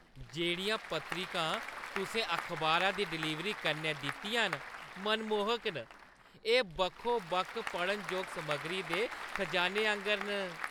जेह्ड़ियां पत्रिकां तुसें अखबारा दी डलीवरी कन्नै दित्तियां न, मनमोह्क न। एह् बक्खो-बक्ख पढ़नजोग समग्री दे खजाने आंगर न।